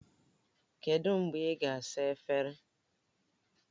Kedu mgbe ị ga-asa efere?